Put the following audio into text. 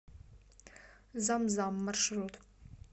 зам зам маршрут